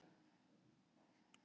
Meðalholt, Stórholt og Þverholt.